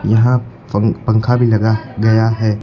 यहां पं पंखा भी लगा गया है।